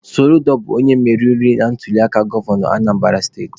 Soludo bụ onye meriri na ntuliaka gọvanọ Anambara steti.